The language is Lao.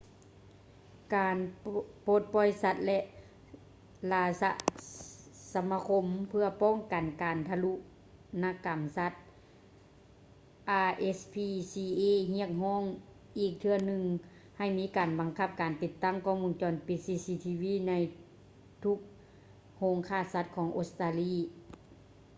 ການປົດປ່ອຍສັດ ແລະ ລາຊະສະມາຄົມເພື່ອປ້ອງກັນການທາລຸນນະກຳສັດ rspca ຮຽກຮ້ອງອີກເທື່ອໜຶ່ງໃຫ້ມີການບັງຄັບການຕິດຕັ້ງກ້ອງວົງຈອນປິດ cctv ໃນທຸກໂຮງຂ້າສັດຂອງອົດສະຕາລີ